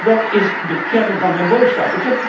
Dat is de kern van mijn boodschap.